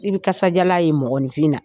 I bɛ kasajalan ye mɔgɔninfin na